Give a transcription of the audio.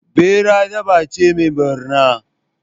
Ɓera dabba ce mai ɓarna.